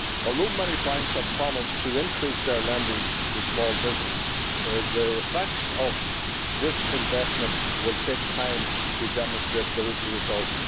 Although many banks have promised to increase their lending to small businesses, the effects of this investment will take time to demonstrate results.